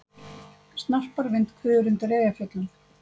Snarpar vindhviður undir Eyjafjöllum